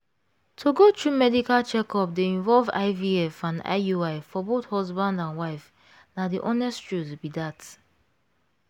to go through medical checkup dey involve ivf and iui for both husband and wife na the honest truth be that